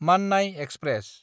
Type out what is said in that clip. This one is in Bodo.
माननाय एक्सप्रेस